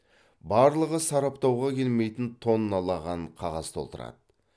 барлығы сараптауға келмейтін тонналаған қағаз толтырады